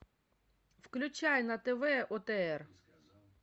включай на тв отр